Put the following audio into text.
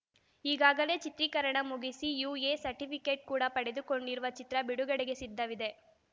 ಈಗಾಗಲೇ ಚಿತ್ರೀಕರಣ ಮುಗಿಸಿ ಯುಎ ಸರ್ಟಿಫಿಕೇಟ್‌ ಕೂಡ ಪಡೆದುಕೊಂಡಿರುವ ಚಿತ್ರ ಬಿಡುಗಡೆಗೆ ಸಿದ್ಧವಿದೆ